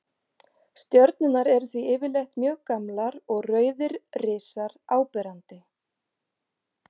Stjörnurnar eru því yfirleitt mjög gamlar og rauðir risar áberandi.